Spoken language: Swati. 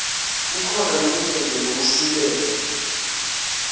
kukhona lokunyenti lokusilele